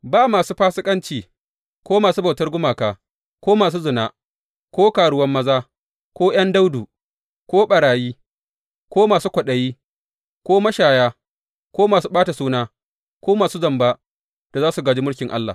Ba masu fasikanci ko masu bautar gumaka ko masu zina ko karuwan maza, ko ’yan daudu, ko ɓarayi ko masu kwaɗayi ko mashaya ko masu ɓata suna ko masu zamba da za su gāji mulkin Allah.